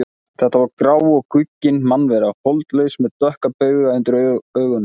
Þetta var grá og guggin mannvera, holdlaus með dökka bauga undir augunum.